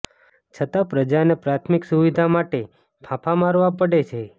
છતાં પ્રજાને પ્રાથમિક સુવિધા માટે ફાંફા મારવા પડે છે